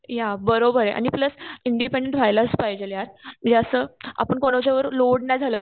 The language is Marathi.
या बरोबर आहे आणि प्लस इंडिपेंडेंस राहिलाच पाहिजे असं आपण कोणत्या वर लोडणा झालं.